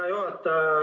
Hea juhataja!